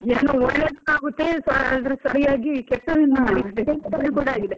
ಏನ್ ಒಳ್ಳೇದ್ ಆಗುತ್ತೆ ಆದ್ರೂ ಸರಿಯಾಗಿ ಕೆಟ್ಟದ್ದು ಕೂಡ ಆಗಿದೆ.